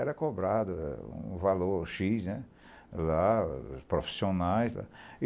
Era cobrado um valor X, la dos profissionais.